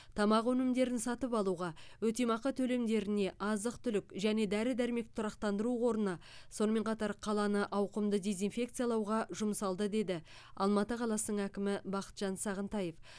тамақ өнімдерін сатып алуға өтемақы төлемдеріне азық түлік және дәрі дәрмек тұрақтандыру қорына сонымен қатар қаланы ауқымды дезинфекциялауға жұмсалды деді алматы қаласының әкімі бақытжан сағынтаев